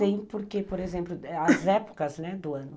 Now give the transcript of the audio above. Tem, porque, por exemplo, as épocas, né, do ano.